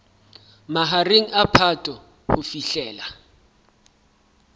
mahareng a phato ho fihlela